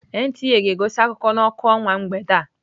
NTA ga-egosi akụkọ n'ọkụ ọnwa mgbede a.